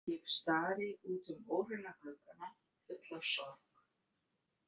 Ég stari út um óhreina gluggana full af sorg.